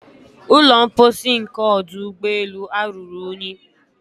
Ụlọ mposi nke ọdụ ụgbọelu a ruru unyi.